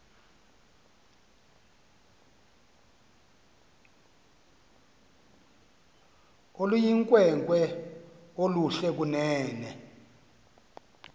oluyinkwenkwe oluhle kunene